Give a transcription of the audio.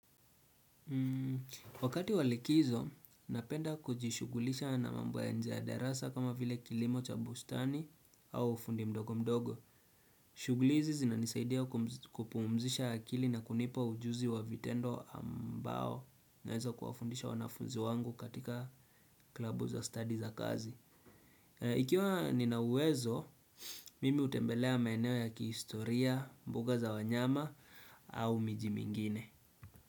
Wakati wa likizo, napenda kujishugulisha na mambo ya nje darasa kama vile kilimo cha bustani au ufundi mdogo mdogo. Shuguli hizi zinanisaidia kupuumzisha akili na kunipa ujuzi wa vitendo ambao naweza kuwafundisha wanafunzi wangu katika klabu za study za kazi. Ikiwa ninauwezo, mimi hutembelea maeneo ya kihistoria, mbuga za wanyama au miji mingine.